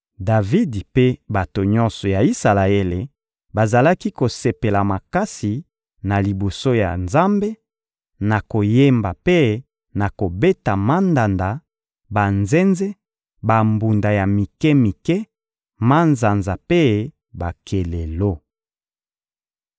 Davidi mpe bato nyonso ya Isalaele bazalaki kosepela makasi na liboso ya Nzambe, na koyemba mpe na kobeta mandanda, banzenze, bambunda ya mike-mike, manzanza mpe bakelelo.